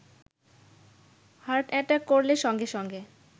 heart attack করলে সঙ্গে সঙ্গে